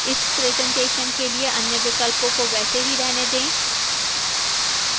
इस presentation के लिए अन्य विकल्पों को वैसे ही रहने दें